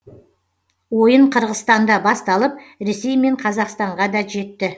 ойын қырғызстанда басталып ресей мен қазақстанға да жетті